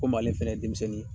Komi ale fɛnɛ ye denmisɛnnin ye